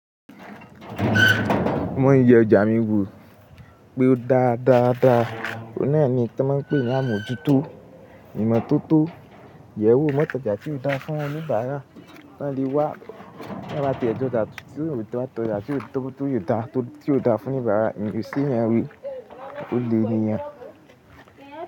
Mo ń yẹ ọjà mi wò pé ó dáa dáa dáa. Óun náà ni iyí to máa n pè ní àmójútó, ìmọ̀ tótó. Yẹ wó mọ́ tọ́jà tí ó da fún oníbàárà kí wọ́n lè wá. Má bá ti jẹ́ ọjà tí ó dà, tọ́jà tí ó tóbi tí ó da fún oníbàárà, èyí sì ni wí, ó le èniyan.